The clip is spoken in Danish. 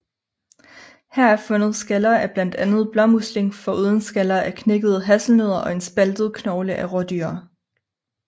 Her er fundet skaller af blandt andet blåmusling foruden skaller af knækkede hasselnødder og en spaltet knogle af rådyr